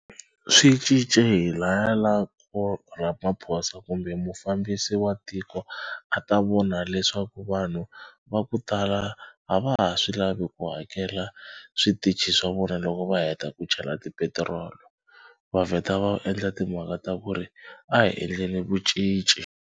Swi cince hi laya la ko Ramaphosa kumbe mufambisi wa tiko a ta vona leswaku vanhu va ku tala a va ha swi lavi ku hakela switichi swa vona loko va heta ku chela ti petirolo. Va vheta va endla timhaka ta ku ri a hi endleni vu cinci.